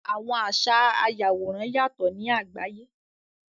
Àwọn àṣa àyàworán yátọ ni àgbàyé.